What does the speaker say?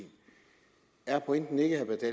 er pointen ikke vil